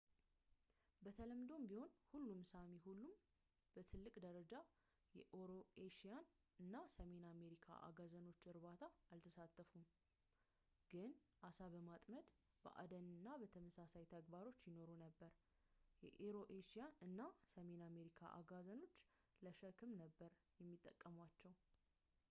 በተለምዶ ቢሆንም ሁሉም ሳሚ ሁሉም በትልቅ ደረጃ የኤሮኤሽያ እና ሰሜን አሜሪካ አጋዘኖችን እርባታ አልተሳተፉም ግን ዓሳ በማጥመድ በአደን እና ተመሳሳይ ተግባሮች ይኖሩ ነበር የኤሮኤሽያ እና ሰሜን አሜሪካ አጋዘኖችን ለሸክም ነበር የሚጠቀሟቸው